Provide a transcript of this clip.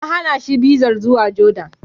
An hana shi bizar zuwa Jordan.